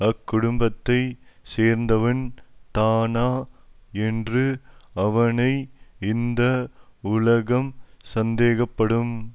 அக்குடும்பத்தைச் சேர்ந்தவன் தானா என்று அவனை இந்த உலகம் சந்தேகப்படும்